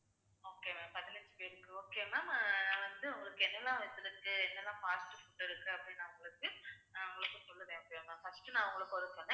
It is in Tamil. சரி okay ma'am நான் வந்து உங்களுக்கு என்னெல்லாம் list இருக்கு என்னெல்லாம் parts இருக்கு அப்படின்னு நான் உங்களுக்கு சொல்கிறேன் okay வா ma'am first நான் உங்களுக்கு